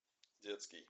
детский